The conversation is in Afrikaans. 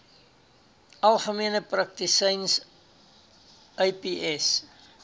algemene praktisyns aps